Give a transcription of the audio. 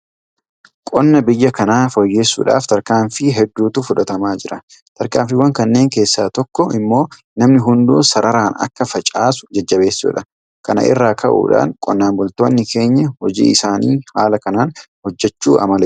Qonna biyya kanaa fooyyessuudhaaf tarkaanfii hedduutu fudhatamaa jira. Tarkaanfiiwwan kanneen keessaa tokko immoo namni hunduu sararaan akka facaasu jajjabeessuudha. Kana irraa ka'uudhaan qonnaan bultoonni keenya hojii isaanii haala kanaan hojjechuu amaleeffatanii jiru.